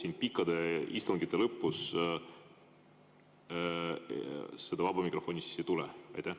Kas pikkade istungite lõpus seda vaba mikrofoni ei tule?